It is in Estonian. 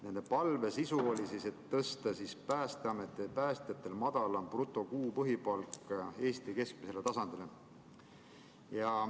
Nende palve oli tõsta Päästeameti päästjatel madalam bruto kuu põhipalk Eesti keskmisele tasandile.